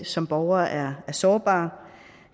som borgere er sårbare